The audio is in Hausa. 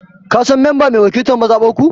Ka San mamba mai wakiltan mazabar ku?